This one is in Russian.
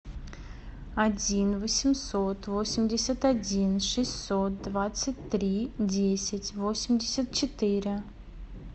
один восемьсот восемьдесят один шестьсот двадцать три десять восемьдесят четыре